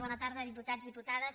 bona tarda diputats diputades